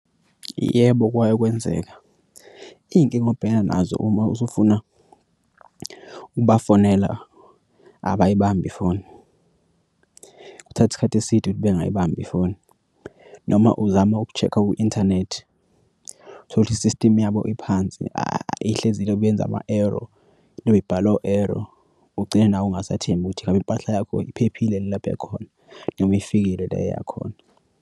Yebo, kwake kwenzeka iy'nkinga obhekana nazo uma usufuna ukubafonela abayibambi ifoni, kuthatha isikhathi eside ukuthi bengayibambi ifoni noma uzama uku-check-a ku-inthanethi uthole ukuthi i-system yabo iphansi ihlezi yenze ama-error libi ibhala o-error ugcine nawe ungasathembi ukuthi ngabe impahla yakho iphephile lapho ikhona noma ifikile la eya khona.